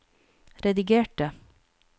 redigerte